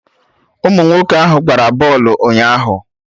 Ụmụ nwoke ahụ gbara bọlụ ụnyaahụ